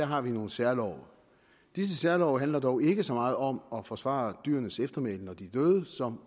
har vi nogle særlove disse særlove handler dog ikke så meget om at forsvare dyrenes eftermæle når de er døde som